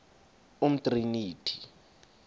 umtriniti